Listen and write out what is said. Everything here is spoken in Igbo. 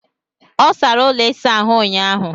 Ọ sara ụlọ ịsa ahụ ụnyaahụ.